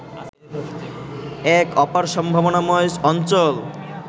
এক অপার সম্ভাবনাময় অঞ্চল